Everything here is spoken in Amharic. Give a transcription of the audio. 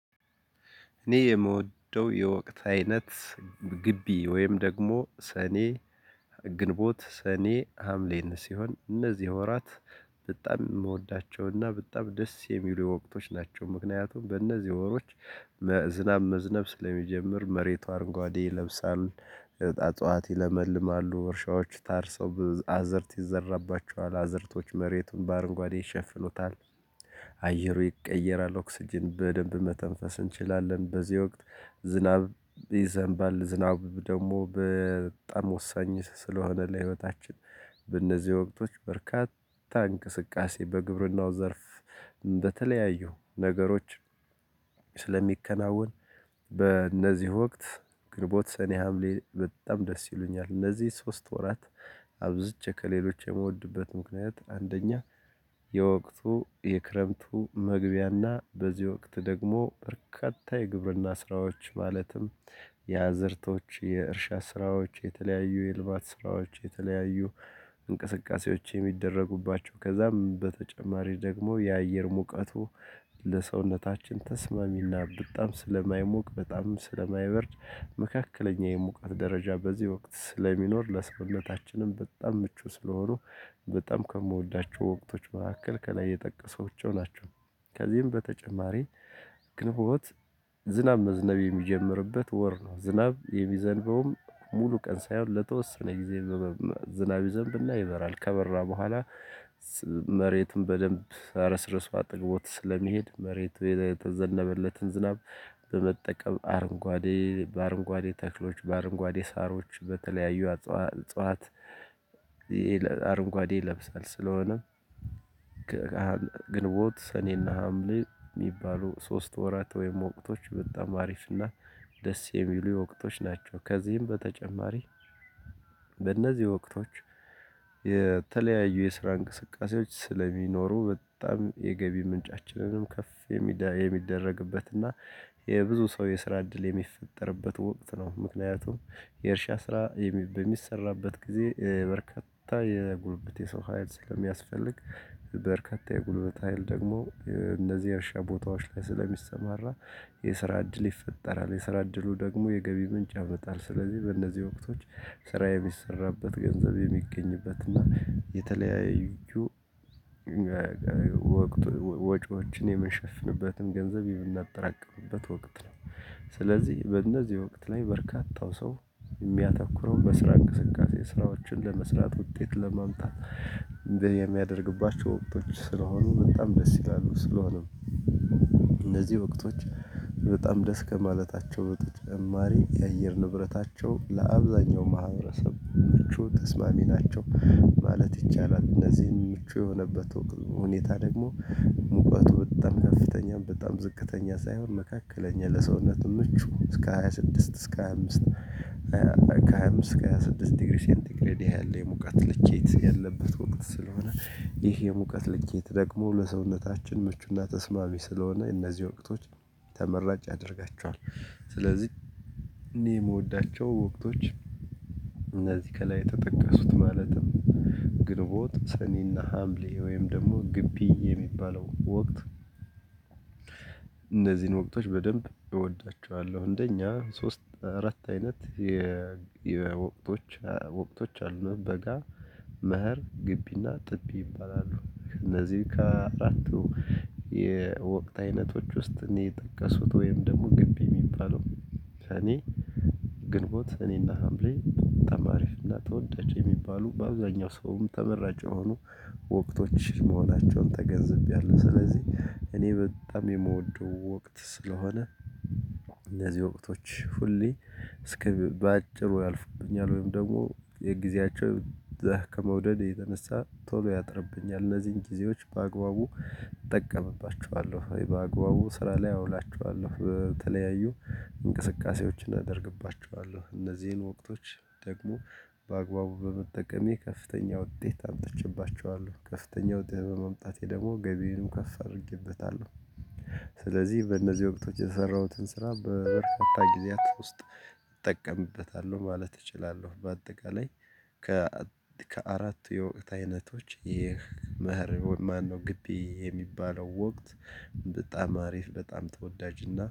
እኔ የምወደው የወቅት አይነት ግቢ ወይም ደግሞ ሰኔ ግንቦት ሰኔ ሀምሌን ሲሆን እነዚህ ወራት በጣም የምወዳቸውና በጣም ደስ የሚሉ ወቅቶች ናቸው። ምክንያቱም በእነዚህ ወሮች ዝናብ መዝነብ ስለሚጀምር መሬቱ አረንጓዴ ይለብሳል። እጽዋት ይለመልማሉ እርሻዎች ታርሰው አዘርት ይዘራባቸዋል አዘርቶች መሬቱን በአረንጓዴ ይሸፍኑታል። አየሩ ይቀየራል ኦክስጅን በደንብ መተንፈስ እንችላለን። በዚህ ወቅት ዝናብ ይዘንባል ዝናብ ደግሞ በጣም ወሳኝ ስለሆነ ለህይወታችን። በእነዚህ ወቅቶች በርካታ እንቅስቃሴ በግብርናው ዘርፍ በተለያዩ ነገሮች ስለሚከናወን። በእነዚህ ወቅት ግንቦት ሰኔ ሀምሌ በጣም ደስ ይሉኛል እነዚህ ሶስት ወራት። አብዝቼ ከሌሎች የምወድበት ምክንያት አንደኛ የወቅቱ የክረምቱ መግቢያና በዚህ ወቅት ደግሞ በርካታ የግብርና ስራዎች ማለትም የአዘርቶች የእርሻ ስራዎች የተለያዩ የልማት ስራዎች የተለያዩ እንቅስቃሴዎች የሚደረጉባቸው። ከዛም በተጨማሪ ደግሞ የአየር ሙቀቱ ለሰውነታችን ተስማሚና በጣም ስለማይሞቅ በጣምም ስለማይበርድ መካከለኛ የሙቀት ደረጃ በዚህ ወቅት ስለሚኖር ለሰውነታችንም በጣም ምቹ ስለሆኑ። በጣም ከምወዳቸው ወቅቶች መካከል ከላይ የጠቀሷቸው ናቸው። ከዚህም በተጨማሪ ግንቦት ዝናብ መዝነብ የሚጀምርበት ወር ነው። ዝናብ የሚዘንበውም ሙሉ ቀን ሳይሆን ለተወሰነ ጊዜ ዝናብ ይዘንብና ይበራል ከበራ በኋላ። መሬትም በደንብ አርስርሶ አጥግቦት ስለሚሄድ መሬት የተዘነበለትን ዝናብ በመጠቀም አረንጓዴ በአረንጓዴ ተክሎች በአረንጓዴ ሳሮች በተለያዩ አጽዋት እጽዋት አረንጓዴ ይለብሳል ስለሆነ። ግንቦት ሰኔና ሀምሌ የሚባሉ ሶስት ወራት ወይም ወቅቶች በጣም አሪፍ እና ደስ የሚሉ የወቅቶች ናቸው። ከዚህም በተጨማሪ በእነዚህ ወቅቶች የተለያዩ የስራ እንቅስቃሴዎች ስለሚኖሩ በጣም የገቢ ምንጫችንንም ከፍ የሚደረግበት እና የብዙ ሰው የስራ እድል የሚፈጠርበት ወቅት ነው። ምክንያቱም የእርሻ ስራ በሚሰራበት ጊዜ በርካታ የጉልበት የሰው ሀይል ስለሚያስፈልግ። በርካታ የጉልበት ሀይል ደግሞ እነዚህ የእርሻ ቦታዎች ላይ ስለሚሰማራ የስራ እድል ይፈጠራል። የስራ እድሉ ደግሞ የገቢ ምንጭ ያመጣል። ስለዚህ በእነዚህ ወቅቶች ስራ የሚሰራበት ገንዘብ የሚገኝበትና የተለያዩ ወጪዎችን የምንሸፍንበትን ገንዘብ የምናጠራቀምበት ወቅት ነው። ስለዚህ በእነዚህ ወቅት ላይ በርካታው ሰው የሚያተኩረው በስራ እንቅስቃሴ ስራዎችን ለመስራት ውጤት ለማምጣት። የሚያደርግባቸው ወቅቶች ስለሆኑ በጣም ደስ ይላሉ ስለሆነም እነዚህ ወቅቶች። በጣም ደስ ከማለታቸው በተጨማሪ የአየር ንብረታቸው ለአብዛኛው ማህበረሰብ ምቹ ተስማሚ ናቸው ማለት ይቻላል። እነዚህን ምቹ የሆነበት ሁኔታ ደግሞ ሙቀቱ በጣም ከፍተኛም በጣም ዝቅተኛ ሳይሆን መካከለኛ ለሰውነትም ምቹ እስከ ሃያ ስድስት እስከ ሃያ አምስት። ከ ሃያ አምስት ከሃያ ስድስት ዲግሪ ሴንቲ ግሬድ ያለ የሙቀት ልኬት ያለበት ወቅት ስለሆነ ይህ የሙቀት ልኬት ደግሞ ለሰውነታችን ምቹና ተስማሚ ስለሆነ እነዚህ ወቅቶች ተመራጭ ያደርጋቸዋል። ስለዚህ እኔ የምወዳቸው ወቅቶች እነዚህ ከላይ የተጠቀሱት ማለትም ግንቦት ሰኔና ሀምሌ ወይም ደግሞ ግቢ የሚባለው ወቅት። እነዚህን ወቅቶች በደንብ እወዳቸዋለሁ አንደኛ ሶስት አራት አይነት የወቅቶች ወቅቶች አሉ በጋ። መሀር ግቢና ጥቢ ይባላሉ። እነዚህ ከአራቱ የወቅት አይነቶች ውስጥ እኔ የጠቀሱት ወይም ደግሞ ግቢ የሚባለው ሰኔ ግንቦት ሰኔና ሀምሌ በጣም አሪፍና ተወዳጅ የሚባሉ በአብዛኛው ሰውም ተመራጭ የሆኑ ወቅቶች መሆናቸውን ተገንዝቤያለሁ። ስለዚህ እኔ በጣም የምወደው ወቅት ስለሆነ። እነዚህ ወቅቶች ሁሌ እስከ በአጭሩ ያልፍብኛል ወይም ደግሞ የጊዜያቸው ዘህ ከመውደድ የተነሳ ቶሎ ያጥርብኛል እነዚህን ጊዜዎች በአግባቡ እጠቀምባቸዋለሁ። በአግባቡ ስራ ላይ አውላቸዋለሁ በተለያዩ እንቅስቃሴዎችን አደርግባቸዋለሁ። እነዚህን ወቅቶች ደግሞ በአግባቡ በመጠቀሜ ከፍተኛ ውጤት አምጥቼባቸዋለሁ። ከፍተኛ ውጤት በማምጣቴ ደግሞ ገቢዬንም ከፍ አድርጌበታለሁ። ስለዚህ በእነዚህ ወቅቶች የሰራሁትን ስራ በፈታኝ ጊዜያት ውስጥ እጠቀምበታለሁ ማለት እችላለሁ። በአጠቃላይ ከአራት የወቅት አይነቶች ይህ መሀር ማነው ግቢ የሚባለው ወቅት? በጣም አሪፍ በጣም ተወዳጅና